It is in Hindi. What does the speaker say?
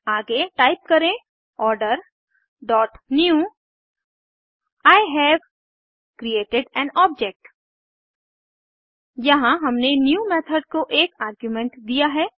आगे टाइप करें order dot new I have created an object यहाँ हमने न्यू मेथड को एक आर्गुमेंट दिया है